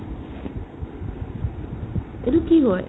এইটো কি হয় ?